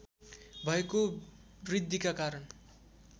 भएको वृद्धिका कारण